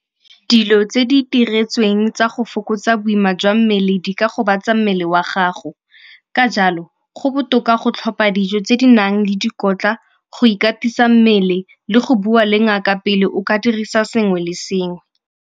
Dilo tse di itiretsweng tsa go fokotsa boima jwa mmele di ka gobatsa mmele wa gago, ka jalo go botoka go tlhopa dijo tse di nang le dikotla, go ikatisa mmele le go bua le ngaka pele o ka dirisa sengwe le sengwe.